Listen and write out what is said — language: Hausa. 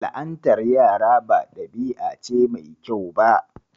La'antar yara ba dabi'a ce mai kyau ba.